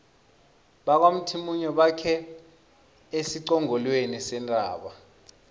bakwamthimunye bakhe esiqongolweni sentaba